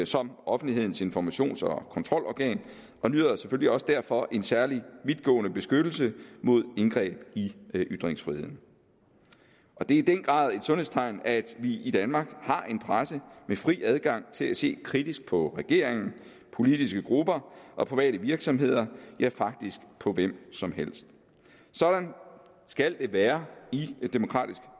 som offentlighedens informations og kontrolorgan og nyder selvfølgelig også derfor en særlig vidtgående beskyttelse mod indgreb i ytringsfriheden det er i den grad et sundhedstegn at vi i danmark har en presse med fri adgang til at se kritisk på regeringen politiske grupper og private virksomheder ja faktisk på hvem som helst sådan skal det være i et demokratisk